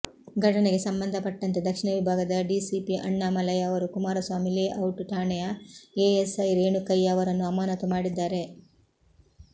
ಘಟನೆಗೆ ಸಂಬಂಧಪಟ್ಟಂತೆ ದಕ್ಷಿಣ ವಿಭಾಗದ ಡಿಸಿಪಿ ಅಣ್ಣಾಮಲೈ ಅವರು ಕುಮಾರಸ್ವಾಮಿ ಲೇಔಟ್ ಠಾಣೆಯ ಎಎಸ್ಐ ರೇಣುಕಯ್ಯ ಅವರನ್ನು ಅಮಾನತು ಮಾಡಿದ್ದಾರೆ